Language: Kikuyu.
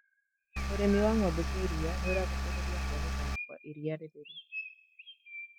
ũrĩmĩwa ng'ombe cia iria kũracũngĩrĩria kũonekana kwa iria rĩtheru